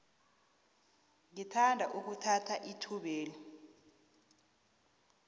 ngithanda ukuthatha ithubeli